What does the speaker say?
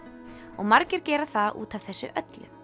og margir gera það út af þessu öllu